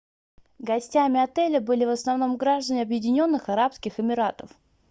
гостями отеля были в основном граждане объединенных арабских эмиратов